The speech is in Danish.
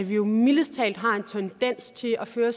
vi jo mildest talt har en tendens til at føre